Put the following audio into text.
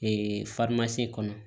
kɔnɔ